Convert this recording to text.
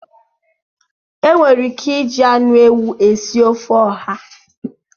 E nwere ike iji anụ ewụ esị ofe ọha